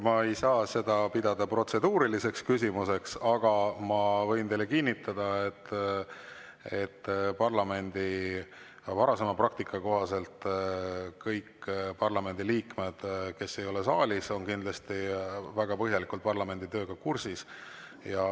Ma ei saa seda pidada protseduuriliseks küsimuseks, aga ma võin teile kinnitada, et parlamendi varasema praktika kohaselt kõik parlamendiliikmed, kes ei ole saalis, on kindlasti väga põhjalikult parlamendi tööga kursis.